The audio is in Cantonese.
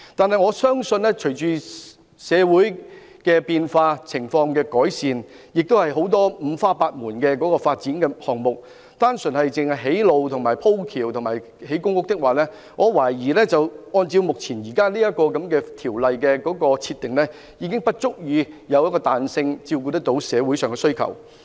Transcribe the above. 可是，我相信隨着社會情況變化和改善，以及五花八門的發展項目推出，如果單純用作興建道路、天橋和公屋，我懷疑《條例》目前的規定，並沒有足夠彈性照顧社會上的需求。